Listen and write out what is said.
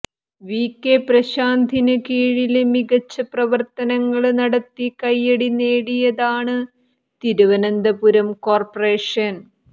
VK പ്രശാന്തിന് കീഴില് മികച്ച പ്രവര്ത്തനങ്ങള് നടത്തി കയ്യടി നേടിയതാണ് തിരുവനന്തപുരം കോര്പ്പറേഷന്